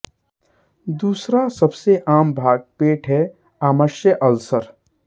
दूसरा सबसे आम भाग पेट है आमाशय अल्सर